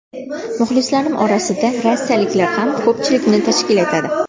Muxlislarim orasida rossiyaliklar ham ko‘pchilikni tashkil etadi.